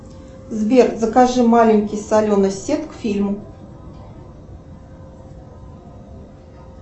сбер закажи маленький соленый сет к фильму